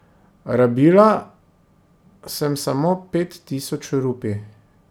Rabila sem samo pet tisoč rupij.